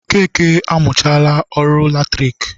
Okeke amụchaala ọrụ latriki